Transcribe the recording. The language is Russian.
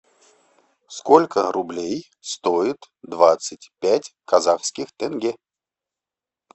сколько рублей стоит двадцать пять казахских тенге